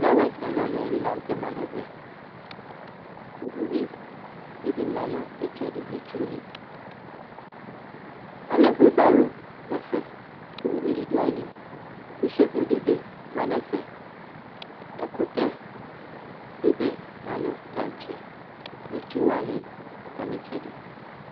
Fllawa ɛlu ɛlu la kɔ nu ɛvɛ uyi dibi ma nu itsɛdi nu itsuni alɛ webaro nu ɛfɛ ku uvidi du ayili shevo dibi ma nu ɛfɛ ɛkutɛ dibi ma nu taŋtse itsuwani atami itsɛdi